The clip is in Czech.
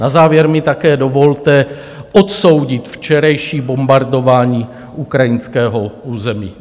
Na závěr mi také dovolte odsoudit včerejší bombardování ukrajinského území.